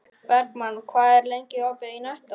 Bergmann, hvað er lengi opið í Nettó?